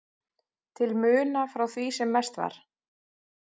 til muna frá því sem mest var.